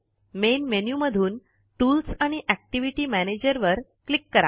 main menu मधून tools आणि activity manager वर क्लिक करा